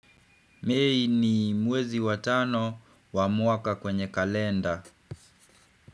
Mei ni mwezi wa tano wa mwaka kwenye kalenda.